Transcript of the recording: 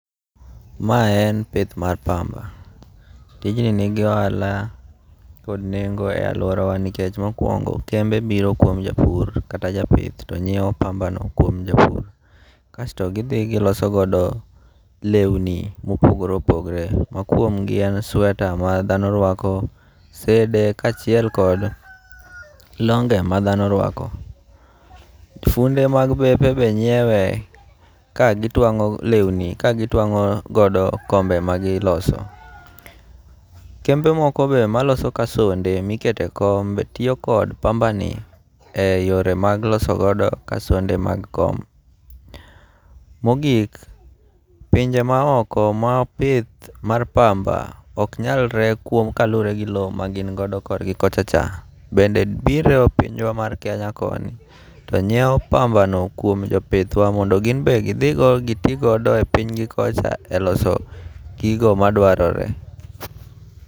Mae en pinth mar mamba, tijni nigi ohala kod nengo' e aluorawa nikech mokuongo' kembe biro kuom japur kata ja pith ti nyiewo pambano kuom japur kasto githi gilosogodo lewnini mopogore opogore, mokuongo' en sueta ma thano rwako, sede kachel kod longe' ma thano ruako. Funde mag bepe be nyiewe kagitwango' lewni kagitwango' godo kombe magiloso, kembe moko be maloso kasonde miketo e kom be tiyo kod pambani e yore mag loso godo kasonde mag kom. Mogik pinje maoko ma ok pith mar pamba ok nyalre kuom kaluore gi low ma gin godo korgi kochacha, bende biro e pinywa mar Kenya koni to nyiewo pambano kuom jo pithwa mondo gin be githi godo mondo go ti godo e pithnygi kocha e loso gigo madwarore.